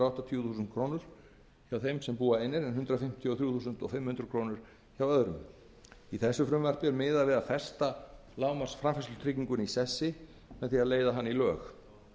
áttatíu þúsund krónur hjá þeim sem búa einir en hundrað fimmtíu og þrjú þúsund fimm hundruð hjá öðrum í þessu frumvarpi er miðað við að festa lágmarksframfærslutrygginguna í sessi með því að leiða hana í lög